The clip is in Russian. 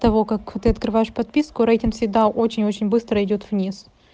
того как ты открываешь подписку рейтинг всегда очень очень быстро идёт вниз